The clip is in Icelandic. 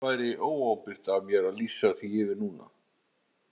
Það væri óábyrgt af mér að lýsa því yfir núna.